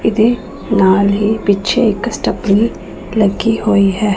ਇਹਦੇ ਨਾਲ ਹੀ ਪਿੱਛੇ ਇੱਕ ਸਟਪਨੀ ਲੱਗੀ ਹੋਈ ਹੈ।